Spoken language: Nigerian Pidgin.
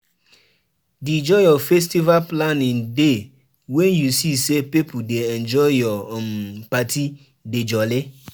Di joy of festival planning dey wen u see say pipo dey enjoy ur um party dey jolly.